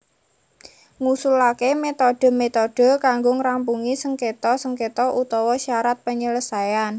Ngusulaké metode metode kanggo ngrampungi sengketa sengketa utawa syarat penyelesaian